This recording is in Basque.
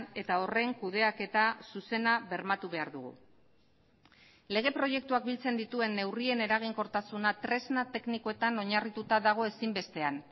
eta horren kudeaketa zuzena bermatu behar dugu lege proiektuak biltzen dituen neurrien eraginkortasuna tresna teknikoetan oinarrituta dago ezinbestean